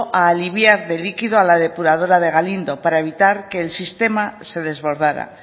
a aliviar de líquido a la depuradora de galindo para evitar que el sistema se desbordara